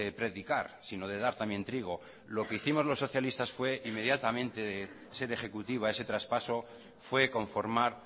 predicar sino de dar también trigo lo que hicimos los socialista fue inmediatamente de ser ejecutiva ese traspaso fue conformar